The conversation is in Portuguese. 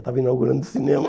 Estava inaugurando o cinema.